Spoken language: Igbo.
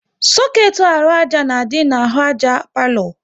Soketi arụ àjà na-adị n'ahụ àjà palo